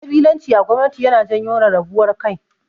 Ƙabilanci a gwamanti yana janyo rarrabuwar kai.